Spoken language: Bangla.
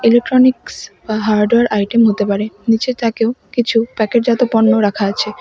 ইলেকট্রনিক্স বা হার্ডওয়ার আইটেম হতে পারে নীচের তাকেও কিছু প্যাকেটজাত পণ্য রাখা আছে।